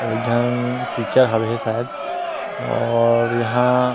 अऊ एक झन टीचर हवे हे शायद और यहाँ--